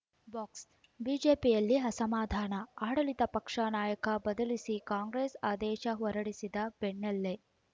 ಬಾಕ್ಸ್ಬಿಜೆಪಿಯಲ್ಲಿ ಅಸಮಾಧಾನ ಆಡಳಿತ ಪಕ್ಷ ನಾಯಕ ಬದಲಿಸಿ ಕಾಂಗ್ರೆಸ್‌ ಆದೇಶ ಹೊರಡಿಸಿದ ಬೆನ್ನಲ್ಲೇ